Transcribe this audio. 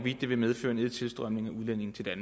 til jeg